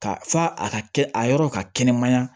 Ka fa a ka kɛ a yɔrɔ ka kɛnɛmaya